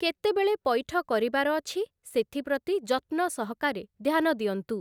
କେତେବେଳେ ପଇଠ କରିବାର ଅଛି, ସେଥିପ୍ରତି ଯତ୍ନସହକାରେ ଧ୍ୟାନ ଦିଅନ୍ତୁ ।